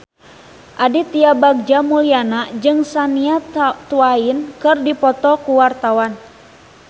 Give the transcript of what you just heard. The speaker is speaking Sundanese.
Aditya Bagja Mulyana jeung Shania Twain keur dipoto ku wartawan